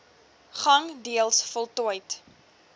gang deels voltooid